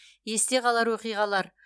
есте қалар оқиғалар